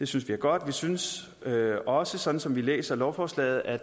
synes vi er godt vi synes også sådan som vi læser lovforslaget at